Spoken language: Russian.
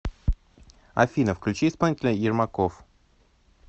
афина включи исполнителя ермаков